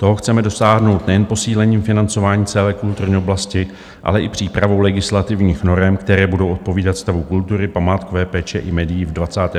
Toho chceme dosáhnout nejen posílením financování celé kulturní oblasti, ale i přípravou legislativních norem, které budou odpovídat stavu kultury, památkové péče i médií v 21. století.